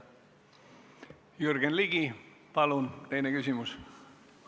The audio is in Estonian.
Jürgen Ligi, palun teine küsimus!